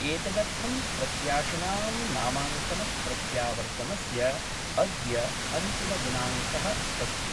एतदर्थं प्रत्याशिनां नामांकनप्रत्यावर्तनस्य अद्य अन्तिमदिनांक: अस्ति।